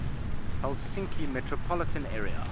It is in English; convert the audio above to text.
helsinki metropolitan area